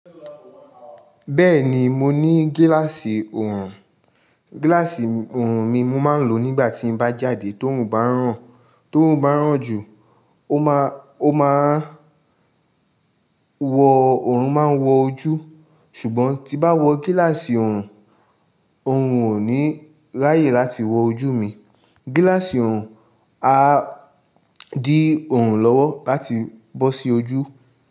Bẹ́ẹ̀ni, mo ní gíláàsì ọrùn. Gíláàsì ọrùn mi mo máa ń lò nígbà tí mo bá jáde tó ń bá ràn án, tóruń bá ràn jù, ó máa, ó máa wo ọrùn máa ń wo ojú. Ṣùgbọ́n tí bá wọ gíláàsì ọrùn, ọrùn òní láyè láti wọ ojú mi. Gíláàsì ọrùn á dí ọrùn lọ́wọ́ láti bọ́ sí ojú.